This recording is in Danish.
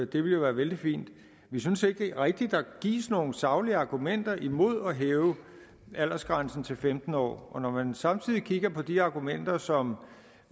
det ville være vældig fint vi synes ikke rigtig der gives nogen saglige argumenter imod at hæve aldersgrænsen til femten år når man samtidig kigger på de argumenter som